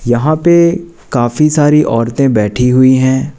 यहां पे काफी सारी औरतें बैठी हुई हैं।